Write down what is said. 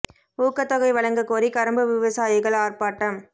ஊக்கத் தொகை வழங்கக் கோரி கரும்பு விவசாயிகள் ஆா்ப்பாட்டம்